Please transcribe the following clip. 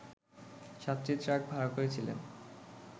সাতটি ট্রাক ভাড়া করেছিলেন